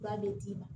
B'a bɛ d'i ma